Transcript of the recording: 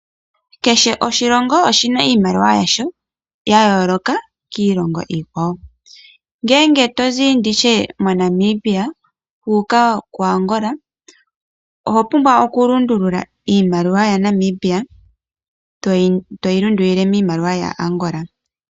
Kehe oshilongo oshina iimaliwa yasho ya yooloka kiilongo iikwawo. Ngele to zi nditye moNamibia wa uka koAngola, oho pumbwa okulundulula iimaliwa ya Namibia toyi lundululile miimaliwa ya Angola.